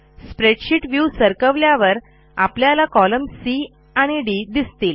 spreadsheet view सरकवल्यावर आपल्याला column C आणि डी दिसतील